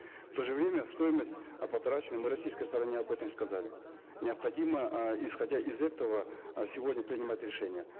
в то же время стоимость э потрачена мы российской стороне об этом сказали необходимо э исходя из этого э сегодня принимать решение